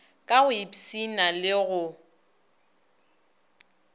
ka go ipshina le go